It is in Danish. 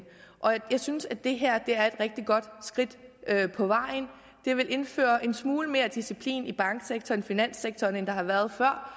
jeg synes at det her er et rigtig godt skridt på vejen det vil indføre en smule mere disciplin i bank og finanssektoren end der har været før